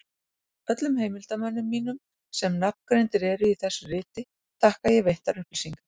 Öllum heimildarmönnum mínum, sem nafngreindir eru í þessu riti, þakka ég veittar upplýsingar.